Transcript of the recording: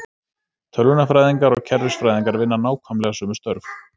Tölvunarfræðingar og kerfisfræðingar vinna nákvæmlega sömu störf.